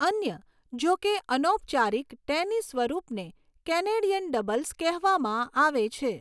અન્ય, જોકે અનૌપચારિક, ટેનિસ સ્વરૂપને કેનેડિયન ડબલ્સ કહેવામાં આવે છે.